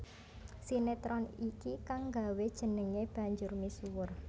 Sinetron iki kang nggawé jenengé banjur misuwur